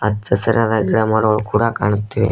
ಹಚ್ಚ ಹಸಿರಾದ ಗಿಡಮರಗಳು ಕೂಡ ಕಾಣುತ್ತಿವೆ.